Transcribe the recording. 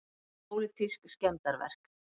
Pólitísk skemmdarverk